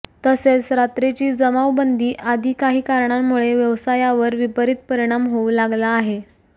तसेच रात्रीची जमावबंदी आदी काही कारणामुळे व्यवसायावर विपरीत परिणाम होऊ लागला आहे